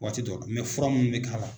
Waati dɔ fura minnu bɛ k'a la.